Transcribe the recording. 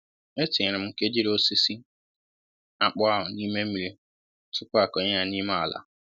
E tinyere m nkejiri osisi akpụ ahụ n'ime mmírí tupu a kọnye ya n'ime ala